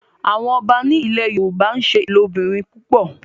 àwọn ọba ní ilè yorùbá n'se ilobirin púpọ.